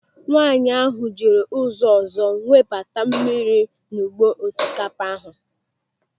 Nwaanyị ahụ jiri ụzọ ọzọ webata mmiri n'ugbo osikapa ahụ.